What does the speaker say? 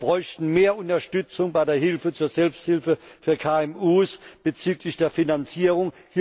Wir bräuchten mehr Unterstützung bei der Hilfe zur Selbsthilfe für KMU bezüglich der Finanzierung.